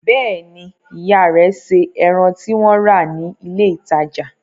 Bẹ́ẹ̀ ni, ìyá rẹ̀ se ẹran tí wọ́n rà ní ilé-ìtajà.